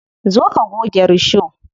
Zo ka goge risho.